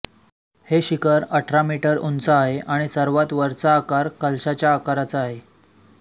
हे शिखर अठरा मीटर उंच आहे आणि सर्वात वरचा आकार कलशाच्या आकाराचा आहे